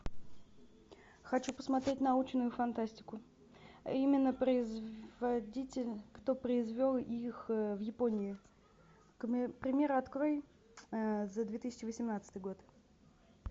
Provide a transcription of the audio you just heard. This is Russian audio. хочу посмотреть научную фантастику именно производитель кто произвел их в японии примеры открой за две тысячи восемнадцатый год